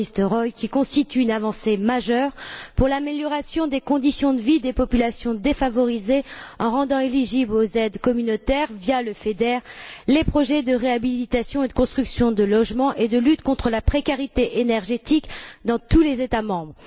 van Nistelrooij, qui constitue une avancée majeure pour l'amélioration des conditions de vie des populations défavorisées, en rendant éligibles aux aides communautaires, via le FEDER, les projets de réhabilitation et de construction de logements et de lutte contre la précarité énergétique dans tous les États membres.